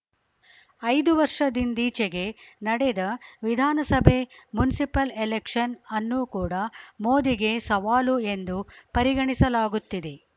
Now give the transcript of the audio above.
ಐದು ವರ್ಷದಿಂದೀಚೆಗೆ ನಡೆದ ವಿಧಾನಸಭೆ ಮುನ್ಸಿಪಲ್‌ ಎಲೆಕ್ಷನ್‌ ಅನ್ನೂ ಕೂಡ ಮೋದಿಗೆ ಸವಾಲು ಎಂದು ಪರಿಗಣಿಸಲಾಗುತ್ತಿದೆ